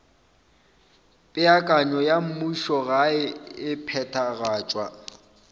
peakanyo ya mmušogae e phethagatšwa